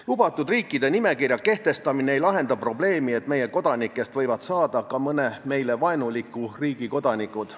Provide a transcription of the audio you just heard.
Lubatud riikide nimekirja kehtestamine ei lahenda probleemi, et meie kodanikest võivad saada ka mõne meile vaenuliku riigi kodanikud.